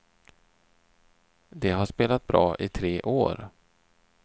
De har spelat bra i tre år.